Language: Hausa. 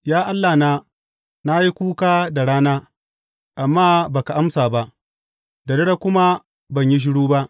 Ya Allahna, na yi kuka da rana, amma ba ka amsa ba, da dare kuma ban yi shiru ba.